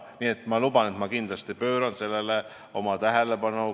Nii et ma luban, et ma kindlasti pööran sellele tähelepanu.